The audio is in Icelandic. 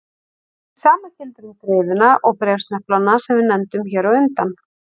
Hið sama gildir um greiðuna og bréfsneplana sem við nefndum hér á undan.